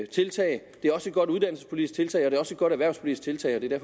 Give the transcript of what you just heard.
tiltag det er også et godt uddannelsespolitisk tiltag og det er også et godt erhvervspolitisk tiltag og det er